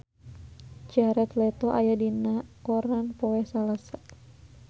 Jared Leto aya dina koran poe Salasa